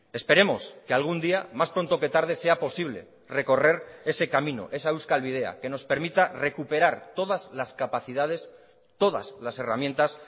esperemos que algún día más pronto que tarde sea posible recorrer ese camino esa euskal bidea que nos permita recuperar todas las capacidades todas las herramientas